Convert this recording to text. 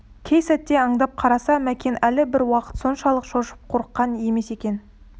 кей сәтте аңдап қараса мәкен әлі бір уақыт соншалық шошып қорыққан емес екен